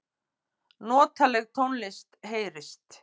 Notaleg tónlist heyrist.